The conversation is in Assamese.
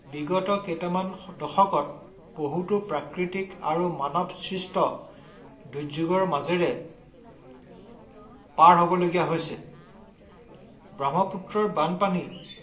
বিগত কেইটামান দশকত বহুতো প্ৰাকৃতিক আৰু মানৱসৃষ্ট দুযোগ্যৰ মাজেৰে পাৰ হব লগীয়া হৈছে। ব্ৰহ্মপুত্ৰৰ বানপানী